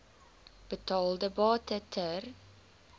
betaalde bate ter